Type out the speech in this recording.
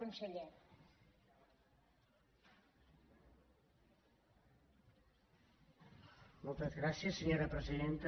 moltes gràcies senyora presidenta